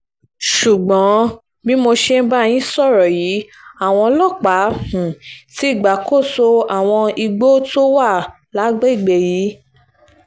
ṣùgbọ́n bí mo ṣe ń bá yín sọ̀rọ̀ yìí àwọn ọlọ́pàá um ti gbàkóso àwọn igbó tó wà lágbègbè yìí um